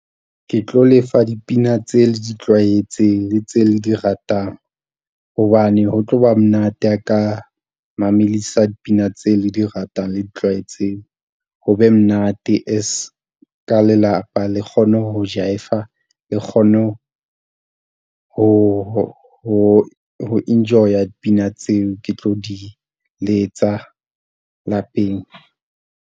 Ke tlo le fa dipina tseo le di tlwaetseng le tse le di ratang hobane ho tlo ba monate a ka mamelisa dipina tseo le di ratang le di tlwaetseng. Ho be monate as ka lelapa le kgone ho Jive-a le kgone ho enjoy-a dipina tseo ke tlo di letsa lapeng.